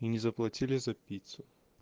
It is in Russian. не заплатили за пиццу